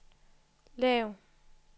lav